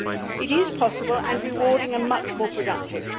It is possible and rewarding and much more productive.